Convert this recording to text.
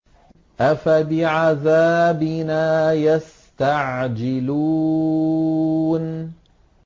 أَفَبِعَذَابِنَا يَسْتَعْجِلُونَ